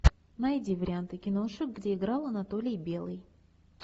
найди варианты киношек где играл анатолий белый